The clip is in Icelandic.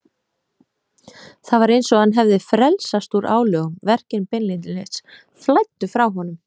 Það var eins og hann hefði frelsast úr álögum, verkin beinlínis flæddu frá honum.